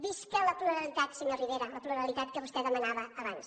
visca la pluralitat senyor rivera la pluralitat que vostè demanava abans